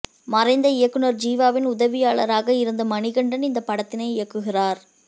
மறைந்த இயக்குநர் ஜீவாவின் உதவியாளராக இருந்த மணிகண்டன் இந்தப் படத்தினை இயக்குகிறார்